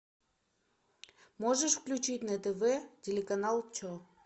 можешь включить на тв телеканал че